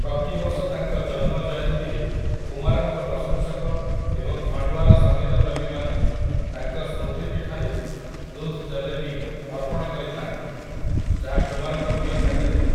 ପ୍ରତିବର୍ଷ ତାଙ୍କ ଜନ୍ମ ଜୟନ୍ତୀରେ କୁମାରଙ୍କ ପ୍ରଶଂସକ ଏବଂ ଖଣ୍ଡ୍ଓ୍ୱାର ସଂଗୀତପ୍ରେମୀମାନେ ତାଙ୍କ ସ୍ମୃତିପୀଠରେ 'ଦୁଧ୍ ଜଲେବୀ' ଅର୍ପଣ କରିଥାନ୍ତି, ଯାହା କୁମାରଙ୍କ ପ୍ରିୟ ଖାଦ୍ୟ ଥିଲା ।